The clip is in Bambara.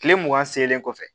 Kile mugan seelen kɔfɛ